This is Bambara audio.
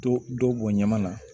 Dɔ dɔ b bɔn ɲama na